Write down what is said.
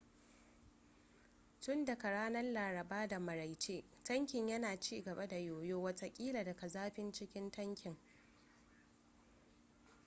tun daga ranar laraba da maraice tankin yana cigaba da yoyo watakila daga zafin cikin tankin